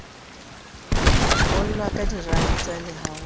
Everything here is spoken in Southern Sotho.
nyollwa kadiranta le ha ho